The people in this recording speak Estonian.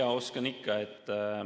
Jaa, oskan ikka.